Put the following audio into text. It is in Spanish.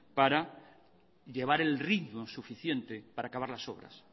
para llevar el ritmo suficiente para acabar las obras